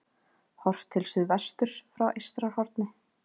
Horft til suðvesturs frá Eystrahorni.